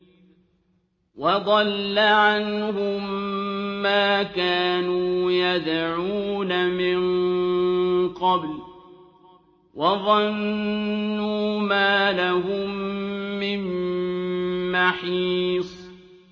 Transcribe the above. وَضَلَّ عَنْهُم مَّا كَانُوا يَدْعُونَ مِن قَبْلُ ۖ وَظَنُّوا مَا لَهُم مِّن مَّحِيصٍ